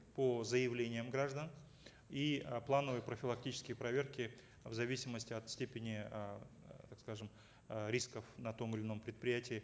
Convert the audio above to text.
по заявлениям граждан и э плановые профилактические проверки в зависимости от степени э так скажем э рисков на том или ином предприятии